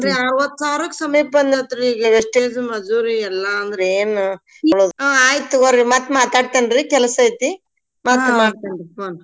ಅರ್ವತ್ ಸಾವ್ರುಕ್ ಸಮೀಪ್ ಬಂದೇತ್ರಿ ಈಗ್ wastage ಮಜೂರಿ ಎಲ್ಲಾ ಅಂದ್ ಏನ ಹಾ ಆಯ್ತ್ ತೊಗೋರಿ ಮತ್ ಮಾತಾಡ್ತೇನ್ರಿ. ಕೆಲಸೈತಿ ಮತ್ ಮಾಡ್ತೇನ್ರಿ ಹ್ಮ್‌.